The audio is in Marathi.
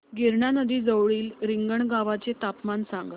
गिरणा नदी जवळील रिंगणगावाचे तापमान सांगा